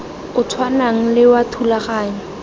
o tshwanang le wa thulaganyo